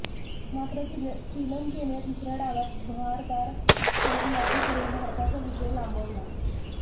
मात्र श्रीलंकेने दुसऱ्या डावात बहारदार फलंदाजी करुन भारताचा विजय लांबवला